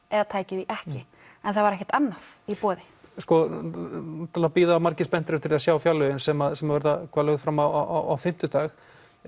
eða tæki því ekki en það var ekkert annað í boði sko núna bíða margir spenntir eftir að sjá fjárlögin sem sem verða lögð fram á fimmtudag